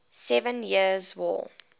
seven years war